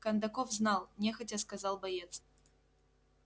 кондаков знал нехотя сказал боец